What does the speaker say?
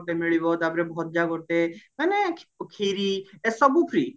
ଗୋଟେ ମିଳିବ ତାପରେ ଭଜା ଗୋଟେ ମାନେ ଖି ଖିରୀ ସବୁ free